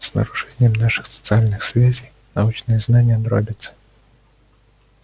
с нарушением наших социальных связей научные знания дробятся